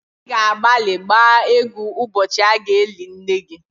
Ị ga-agbalị gbaa égwú ụbọchị a ga-eli nne gị